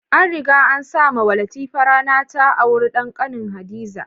An riga an sa mawa Latifa rana ta aura da kanin Hadiza.